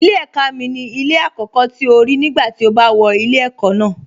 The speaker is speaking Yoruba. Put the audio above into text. Ilé ẹ̀ka mi ni ilé àkọ́kọ́ tí o rí nígbà tí o bá wọ ilé ẹ̀kọ́ ná